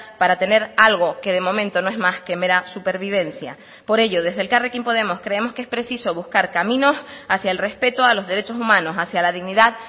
para tener algo que de momento no es más que mera supervivencia por ello desde elkarrekin podemos creemos que es preciso buscar caminos hacia el respeto a los derechos humanos hacia la dignidad